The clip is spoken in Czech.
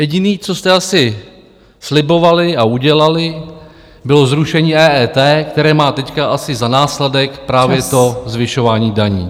Jediné, co jste asi slibovali a udělali, bylo zrušení EET, které má teď asi za následek právě to zvyšování daní.